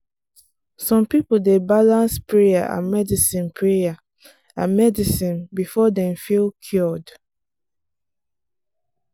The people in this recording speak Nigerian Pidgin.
some people dey balance prayer and medicine prayer and medicine before dem feel cured.